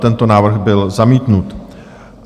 Tento návrh byl zamítnut.